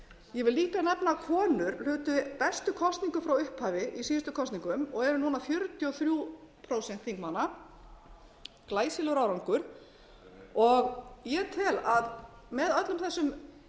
ég vil líka nefna að konur hlutu bestu kosningu frá upphafi í síðustu kosningum og eru núna fjörutíu og þrjú prósent þingmanna glæsilegur árangur og ég tel að með öllum þessum